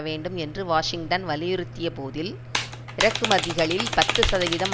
வேண்டும் என்று வாஷிங்டன் வலியுறுத்திய போதில் இறக்குமதிகளில் பத்து சதவீதம்